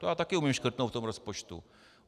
To já taky umím škrtnout v tom rozpočtu.